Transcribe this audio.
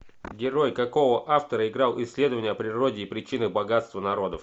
герой какого автора играл исследование о природе и причинах богатства народов